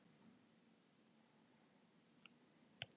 Í svari sínu við spurningunni Hvað er snertiskyn?